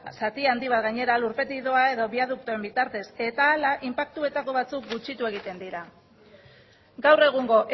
zati handi bat lurpetik doa edo biaduktoen bitartez eta horrela inpaktuetako batzuk gutxitu egiten dira gaur egungo